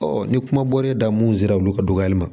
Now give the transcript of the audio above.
ni kuma bɔra mun sera olu ka dɔgɔyali ma